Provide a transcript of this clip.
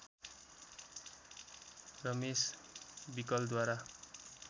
Ramesh विकलद्वारा